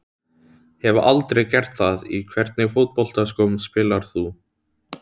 Hef aldrei gert það Í hvernig fótboltaskóm spilar þú?